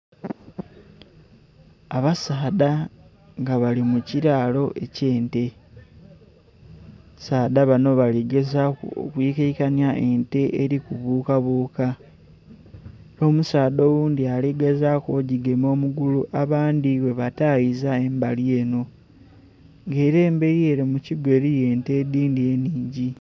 Abasaadha nga bali mukiralo eky'e nte, abasaadha bano baligezaku okwikakanya ente eri kubukabuka n'omusaadha oghundhi aligezaku ogigema omugugha abandhi bwebatayiza mumbali eno nga era emberi mukigo eriyo ente edhindhi nningi.